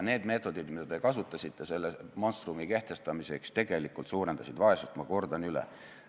Need meetodid, mida te kasutasite selle monstrumi kehtestamiseks, tegelikult suurendasid vaesust, ma kordan üle.